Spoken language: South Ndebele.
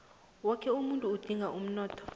woke umuntu udinga umnotho